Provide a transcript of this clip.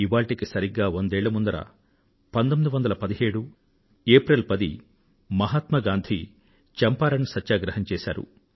ఇవాళ్టికి సరిగ్గా వందేళ్ల పూర్వం 1917 ఏప్రిల్ 10వ తేదీ నాడు మహాత్మా గాంధీ చంపారణ్ సత్యాగ్రహం చేశారు